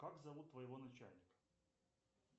как зовут твоего начальника